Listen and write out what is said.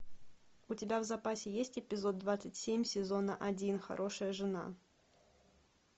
у тебя в запасе есть эпизод двадцать семь сезона один хорошая жена